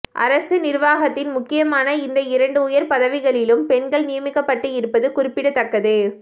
அரசு நிர்வாகத்தின் முக்கியமான இந்த இரண்டு உயர் பதவிகளிலும் பெண்கள் நியமிக்கப்பட்டு இருப்பது குறிப்பிடத்தக்கது